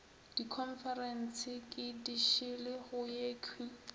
dikhonferense ke dišele go yekhwi